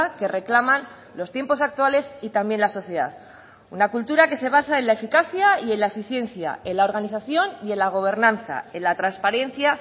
que reclaman los tiempos actuales y también la sociedad una cultura que se basa en la eficacia y en la eficiencia en la organización y en la gobernanza en la transparencia